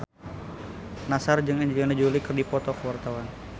Nassar jeung Angelina Jolie keur dipoto ku wartawan